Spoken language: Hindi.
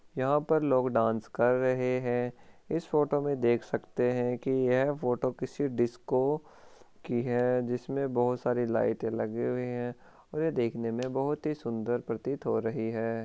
यहाँ पर लोग डांस कर रहे है इस फोटो में देख सकते है की यह फोटो किसी डिस्को की है जिसमे बहुत सारी लाइटे लगी हुई है और ये देखने में बहुत ही सुन्दर प्रतीत हो रही है।